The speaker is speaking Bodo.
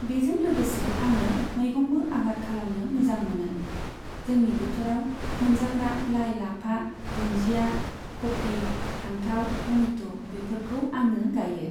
बेजों लोगोसे आङो मैगंबो आबाद खालामनो मोजां मोनो। जोंनि बोथोराव मोनजाग्रा लाइ लाफा, दुनजिया, खफि, फान्थाव, टमेट' बेफोरखौ आङो गायो।